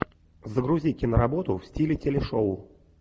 загрузи киноработу в стиле телешоу